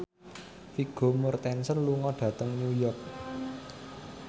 Vigo Mortensen lunga dhateng New York